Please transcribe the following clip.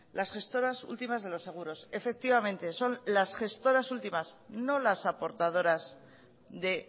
las gestoras últimas de los seguro efectivamente son las gestoras últimas no las aportadoras de